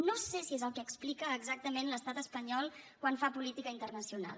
no sé si és el que explica exactament l’estat espanyol quan fa política internacional